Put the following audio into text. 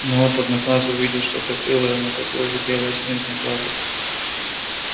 но вот одноглазый увидел что то белое на такой же белой снежной глади